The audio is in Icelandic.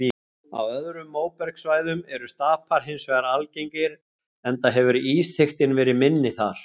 Á öðrum móbergssvæðum eru stapar hins vegar algengir enda hefur ísþykktin verið minni þar.